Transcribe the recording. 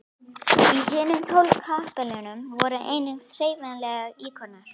Í hinum tólf kapellunum voru einungis hreyfanlegir íkonar.